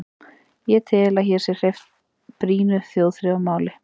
Ég tel, að hér sé hreyft brýnu þjóðþrifamáli.